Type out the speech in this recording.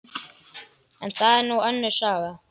En það er nú önnur saga.